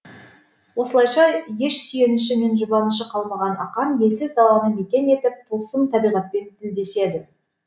осылайша еш сүйеніші мен жұбанышы қалмаған ақан елсіз даланы мекен етіп тылсым табиғатпен тілдеседі